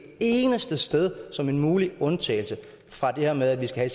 eneste sted som en mulig undtagelse fra det her med at vi skal